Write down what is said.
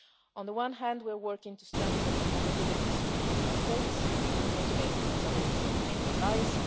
On the one hand, we are working to strengthen the capabilities of our Member States, and in most cases these are also NATO allies.